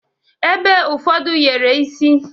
Ebe ụfọdụ yere isi.